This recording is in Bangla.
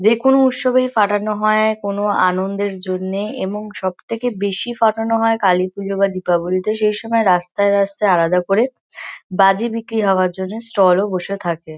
যে-কোনো উৎসবে ফাটানো হয় কোনো আনন্দের জন্যে এবং সব থেকে বেশি ফাটানো হয় কালীপুজো বা দীপাবলিতে। সেইসময় রাস্তায়-রাস্তায় আলাদা করে বাজি বিক্রি হওয়ার জন্যে স্টল -ও বসে থাকে।